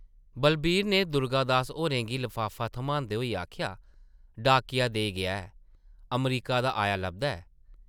बलवीर नै दुर्गादास होरें गी लफाफा थम्हांदे होई आखेआ, ‘‘डाकिया देई गेआ ऐ; अमरीका दा आया लभदा ऐ ।’’